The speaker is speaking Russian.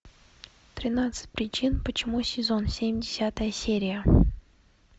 тринадцать причин почему сезон семь десятая серия